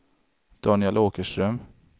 Daniel Åkerström